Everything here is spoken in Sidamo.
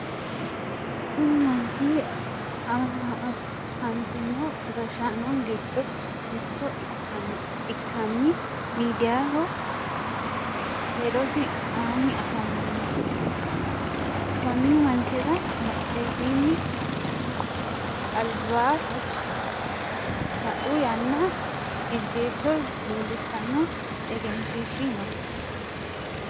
Kunni manchi afantino gashaano gido mitto ikanna miidiyaho hedosi aanni afamano. Konni manchira badhesiinni abla sa'u yanna ejjeetto leelishano egenshiishi no.